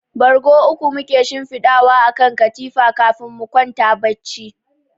Bargo uku muke shinfidawa a kan katifa kafin mu kwanta bacci.